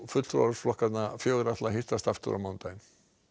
fulltrúar flokkanna fjögurra hittast aftur á mánudaginn